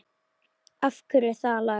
Af hverju það lag?